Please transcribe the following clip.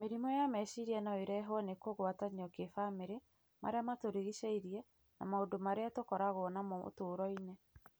Mĩrimũ ya meciria no ĩrehwo nĩ kũgwatanio kĩbamĩrĩ, marĩa matũrigicĩirie na maũndũ marĩa tũkoragwo namo ũtũũro-inĩ.